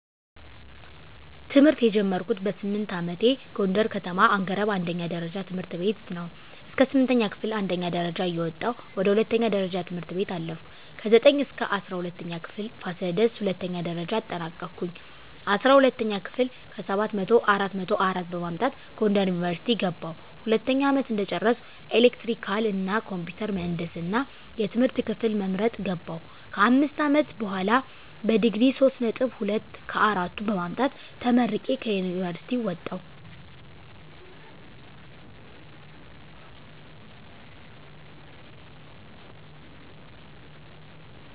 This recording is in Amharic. ትምህርት የጀመርኩት በስምንት አመቴ ጎንደር ከተማ አንገረብ አንደኛ ደረጃ ትምህርት ቤት ነው። እስከ ስምንተኛ ክፍል አንደኛ ደረጃ እየወጣሁ ወደ ሁለተኛ ደረጃ ትምህርት ቤት አለፍኩ። ከዘጠኝ እስከ እስራ ሁለተኛ ክፍል ፋሲለደስ ሁለተኛ ደረጃ አጠናቀኩኝ። አስራ ሁለተኛ ክፍል ከሰባት መቶው አራት መቶ አራት በማምጣት ጎንደር ዩኒቨርሲቲ ገባሁ። ሁለተኛ አመት እንደጨረስኩ ኤሌክትሪካል እና ኮምፒውተር ምህንድስና የትምህርት ክፍል በመምረጥ ገባሁ። ከአምስት አመት በሆላ በዲግሪ ሶስት ነጥብ ሁለት ከአራቱ በማምጣት ተመርቄ ከዩኒቨርሲቲ ወጣሁ።